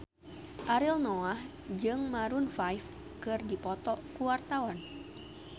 Ariel Noah jeung Maroon 5 keur dipoto ku wartawan